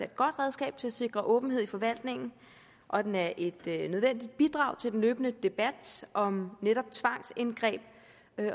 godt redskab til at sikre åbenhed i forvaltningen og at den er et nødvendigt bidrag til den løbende debat om netop tvangsindgreb